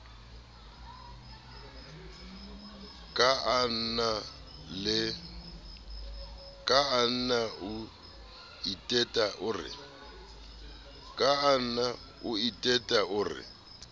kaana o iteta o re